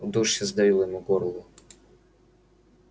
удушье сдавило ему горло